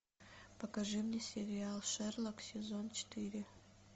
покажи мне сериал шерлок сезон четыре